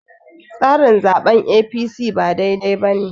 tsarin zaɓen A.p.c ba dai dai ba ne